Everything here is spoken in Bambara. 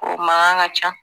Ko mankan ka ca